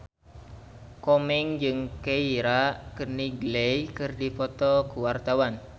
Komeng jeung Keira Knightley keur dipoto ku wartawan